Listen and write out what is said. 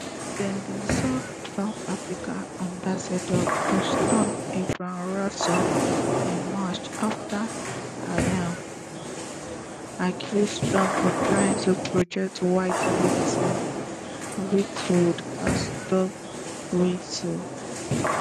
dem bin sack south africa ambassador to washington ebrahim rasool in march afta im um accuse trump of trying to project white victimhood as dog whistle